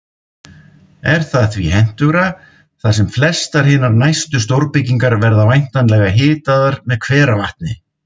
Er það því hentugra, þar sem flestar hinar næstu stórbyggingar verða væntanlega hitaðar með hveravatni.